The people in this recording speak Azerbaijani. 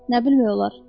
Nə bilmək olar?